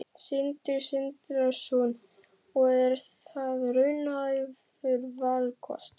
Sindri Sindrason: Og er það raunhæfur valkostur?